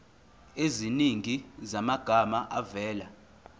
eziningi zamagama avela